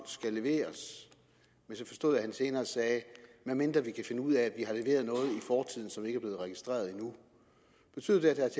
skal leveres men så forstod jeg at han senere sagde medmindre vi kan finde ud af at i fortiden som ikke er blevet registreret endnu betyder det